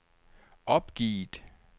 opgivet